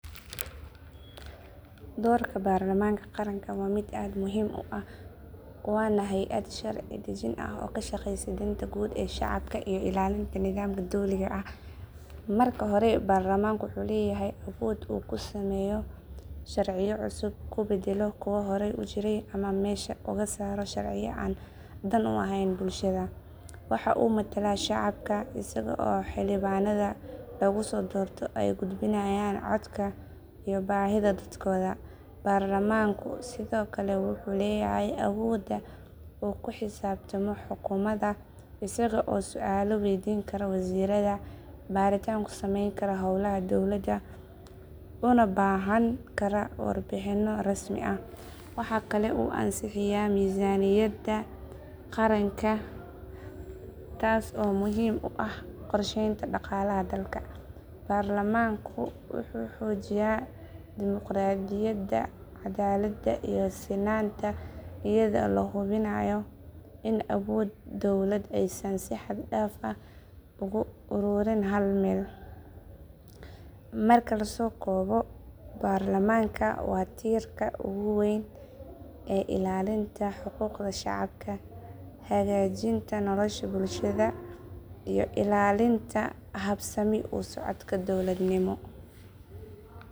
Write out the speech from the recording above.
Doorka baarlamaanka qaranka waa mid aad muhiim u ah waana hay’ad sharci dejin ah oo ka shaqeysa danta guud ee shacabka iyo ilaalinta nidaamka dowliga ah. Marka hore baarlamaanku wuxuu leeyahay awood uu ku sameeyo sharciyo cusub, ku beddelo kuwa hore u jiray ama meesha uga saaro sharciyo aan dan u ahayn bulshada. Waxa uu matalaa shacabka isaga oo xildhibaannada lagu soo doorto ay gudbinayaan codka iyo baahida dadkooda. Baarlamaanku sidoo kale wuxuu leeyahay awooda uu ku xisaabtamo xukuumadda isaga oo su’aalo waydiin kara wasiirrada, baaritaan ku samayn kara howlaha dowladda, una baahan kara warbixinno rasmi ah. Waxa kale oo uu ansixiyaa miisaaniyadda qaranka taas oo muhiim u ah qorshaynta dhaqaalaha dalka. Baarlamaanku wuxuu xoojiyaa dimuqraadiyadda, cadaaladda, iyo sinaanta iyada oo la hubinayo in awoodda dowladda aysan si xad dhaaf ah ugu ururin hal meel. Marka la soo koobo, baarlamaanka waa tiirka ugu weyn ee ilaalinta xuquuqda shacabka, hagaajinta nolosha bulshada, iyo ilaalinta habsami u socodka dowladnimo.